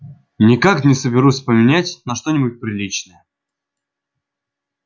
никак не соберусь поменять на что-нибудь приличное